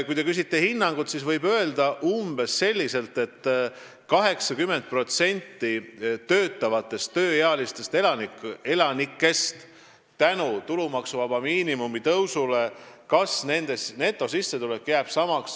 Kui te küsite hinnangut, siis võib öelda, et umbes 80% töötavatest tööealistest elanikest kas võidab tulumaksuvaba miinimumi tõusust või siis jääb sama netosissetulekuga.